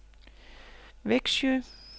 Vexjö